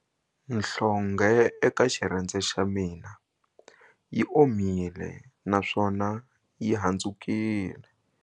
Nhlonghe eka xirhendze xa mina yi omile naswona yi handzukile.